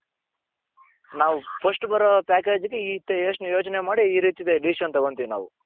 ನಾವು first ಬರೋ package ಗೆ ಯೋಚನೆ ಮಾಡಿ ಈ ರೀತಿ decision ತಗೊಂತೀವಿ ನಾವು .